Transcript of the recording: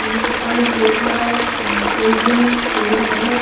यहाँ पे पानी का बोतला और कोलड्रिंग वगेरा पड़े है।